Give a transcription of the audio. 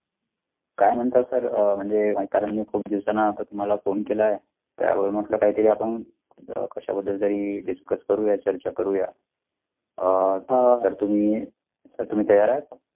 काय म्हणता sir अ म्हणजे काय कारण कोणी दिवसांना तर तुम्हाला phone केला त्यावर म्हटलं काहीतरी आपण कशाबद्दल तरी discuss करूया चर्चा करुया अ हा तर तुम्ही sir तुम्ही तयार आहेत.